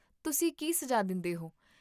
ਤੁਸੀਂ ਕੀ ਸੁਝਾਅ ਦਿੰਦੇ ਹੋ?